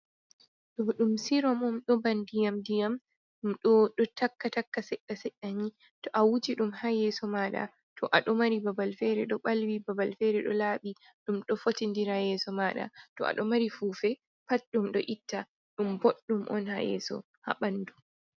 Ɗo ɗum siromom ɗo ba nɗiyam nɗiyam. Ɗum bo ɗo takka takka seɗɗa seɗani to a wuji ɗum ha yeso maɗa to aɗo mari babal fere ɗo balwi babal fere ɗo laabi ɗum ɗo fotinɗira yeso maɗa. To aɗo mari fufe pat ɗum ɗo itta. Ɗum boɗɗum on ha yeso ha banɗu.